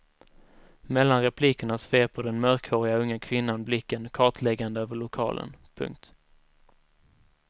Mellan replikerna sveper den mörkhåriga unga kvinnan blicken kartläggande över lokalen. punkt